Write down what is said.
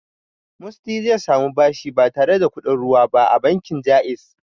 Musty zai samu bashi ba tare da kuɗin ruwa ba a bankin Ja'iz.